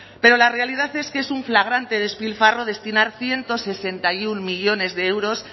pero la realidad es que es un flagrante despilfarro destinar ciento sesenta y uno millónes de euros